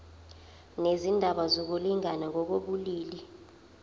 nezindaba zokulingana ngokobulili